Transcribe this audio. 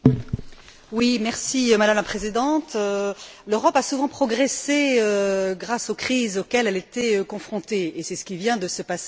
Madame la Présidente, l'Europe a souvent progressé grâce aux crises auxquelles elle était confrontée, et c'est ce qui vient de se passer tout à fait récemment.